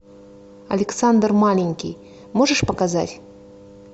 александр маленький можешь показать